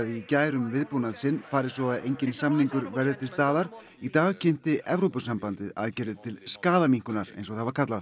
í gær um viðbúnað sinn fari svo að enginn samningur verði til staðar í dag kynnti Evrópusambandið aðgerðir til skaðaminnkunar eins það var kallað